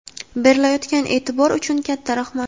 berilayotgan eʼtibor uchun katta rahmat!.